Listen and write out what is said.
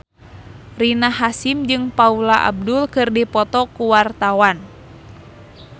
Rina Hasyim jeung Paula Abdul keur dipoto ku wartawan